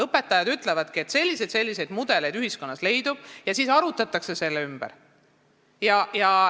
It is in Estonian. Õpetajad ütlevad, et ühiskonnas leidub selliseid ja selliseid mudeleid, ning siis arutletakse selle üle.